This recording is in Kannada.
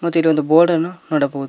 ಮತ್ತು ಇಲ್ಲಿ ಒಂದು ಬೋರ್ಡ್ ಅನ್ನು ನೋಡಬಹುದು.